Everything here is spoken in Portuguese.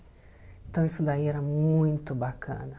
Então isso daí era muito bacana.